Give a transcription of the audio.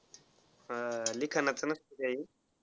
लिखानाच नसतय काही.